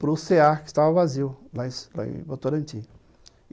para o cê a que estava vazio, lá em Votorantim.